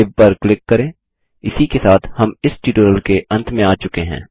save पर click करें इसी के साथ हम इस ट्यूटोरियल के अंत में आ चुके हैं